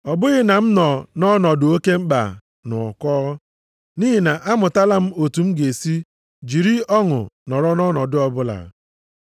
Ọ bụghị na m nọ nʼọnọdụ oke mkpa na ụkọ. Nʼihi na amụtala m otu m ga-esi jiri ọṅụ nọrọ nʼọnọdụ ọbụla.